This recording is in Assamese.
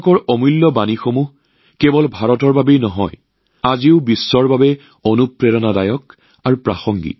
কেৱল ভাৰতৰ বাবেই নহয় সমগ্ৰ বিশ্বৰ বাবে গুৰু নানক জীৰ বহুমূলীয়া বাৰ্তা আজিও প্ৰেৰণাদায়ক আৰু প্ৰাসংগিক